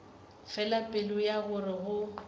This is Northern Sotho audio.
fela pelo ya gore go